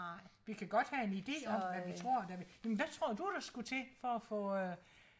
vi kan godt have en ide om hvad vi tror der vil men hvad tror du der skulle til for at få øh